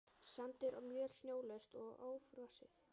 Sandur og möl snjólaust og ófrosið.